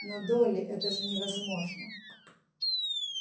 но долли это же невозможно